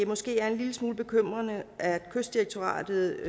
måske er en lille smule bekymrende at kystdirektoratet